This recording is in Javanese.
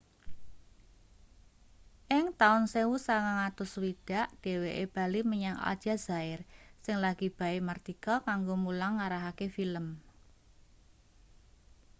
ing taun 1960 dheweke bali menyang aljazair sing lagi bae mardika kanggo mulang ngarahake film